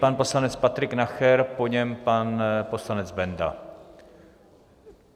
Pan poslanec Patrik Nacher, po něm pan poslanec Benda.